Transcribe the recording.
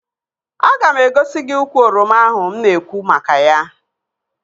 Aga m egosi gị ukwu oroma ahụ mụ na-ekwu maka ya